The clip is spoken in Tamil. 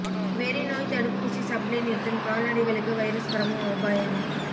வெறி நோய் தடுப்பூசி சப்ளை நிறுத்தம் கால்நடைகளுக்கு வைரஸ் பரவும் அபாயம்